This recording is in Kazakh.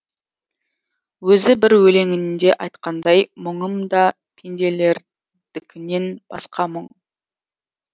өзі бір өлеңінде айтқандай мұңым да пенделердікінен басқа мұң